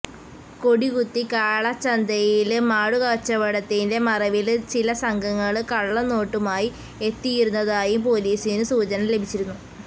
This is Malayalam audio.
കൊടികുത്തി കാളച്ചന്തയില് മാടുകച്ചവടത്തിന്റെ മറവില് ചില സംഘങ്ങള് കള്ളനോട്ടുമായി എത്തിയിരുന്നതായും പോലീസിനു സൂചന ലഭിച്ചിരുന്നു